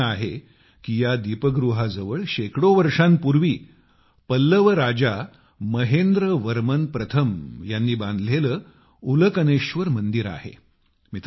त्यांचे म्हणणे आहे की ह्या दीपगृहाजवळ शेकडो वर्षांपूर्वी पल्लव राजा महेंद्र वर्मन प्रथम यांनी बांधलेले उलकनेश्वर मंदिर आहे